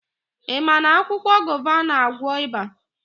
Ị ma na akwụkwọ gova na-àgwọ́ ịba?